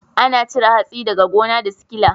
Ana cire hatsi daga gona da sikila.